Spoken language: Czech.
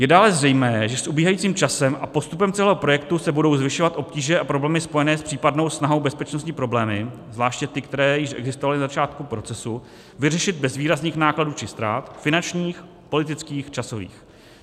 Je dále zřejmé, že s ubíhajícím časem a postupem celého projektu se budou zvyšovat obtíže a problémy spojené s případnou snahou, bezpečnostní problémy, zvláště ty, které již existovaly na začátku procesu, vyřešit bez výrazných nákladů či ztrát finančních, politických, časových.